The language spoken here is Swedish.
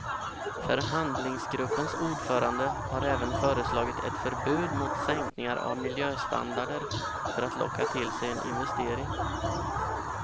Förhandlingsgruppens ordförande har även föreslagit ett förbud mot sänkningar av miljöstandarder för att locka till sig en investering.